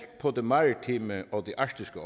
på det maritime og arktiske